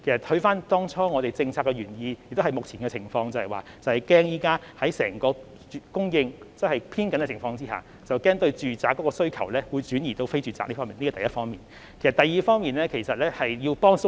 回看政策當初的原意，也切合目前的情況，便是在整個供應偏緊的情況下，擔心住宅物業的需求會轉移至非住宅物業市場，這是第一點。